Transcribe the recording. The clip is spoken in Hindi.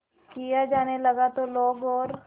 किया जाने लगा तो लोग और